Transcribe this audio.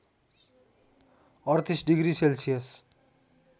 ३८ degree Celsius